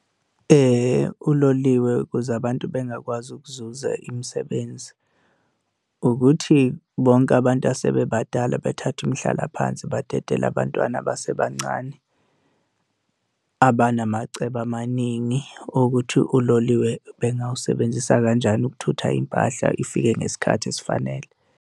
Uloliwe ukuze abantu bengakwazi ukuzuza imisebenzi, ukuthi bonke abantu asebebadala bethathe umhlalaphansi badedele abantwana abasebancane abanamacebo amaningi ukuthi uloliwe bengawusebenzisa kanjani ukuthutha impahla ifike ngesikhathi esifanele.